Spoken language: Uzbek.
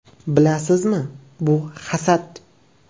“Bilasizmi, bu hasad!